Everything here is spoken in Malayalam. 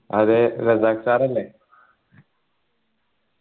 അതെ റസാഖ് sir അല്ലെ